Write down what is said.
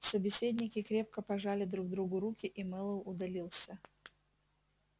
собеседники крепко пожали друг другу руки и мэллоу удалился